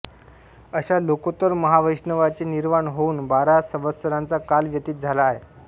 अशा लोकोत्तर महावैष्णवाचे निर्वाण होवून बारा संवत्सराचा काल व्यतीत झाला आहे